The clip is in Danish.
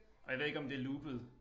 Og jeg ved ikke om det loopet